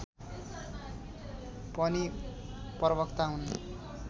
पनि प्रवक्ता हुन्